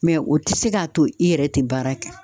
Mɛ o ti se k'a to i yɛrɛ te baara kɛ